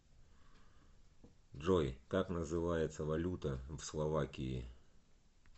джой как называется валюта в словакии